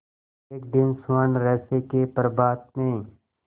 एक दिन स्वर्णरहस्य के प्रभात में